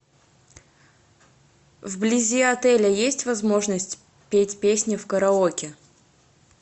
вблизи отеля есть возможность петь песни в караоке